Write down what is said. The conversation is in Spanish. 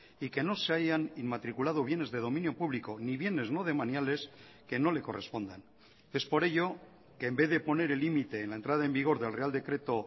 y que no se hayan inmatriculado bienes de dominio público ni bienes no demaniales que no le correspondan es por ello que en vez de poner el límite en la entrada en vigor del real decreto